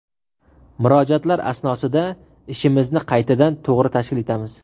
Murojaatlar asnosida ishimizni qaytadan, to‘g‘ri tashkil etamiz.